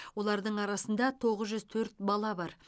олардың арасында тоғыз жүз төрт бала бар